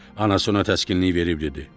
Anası ona təskinlik verib dedi: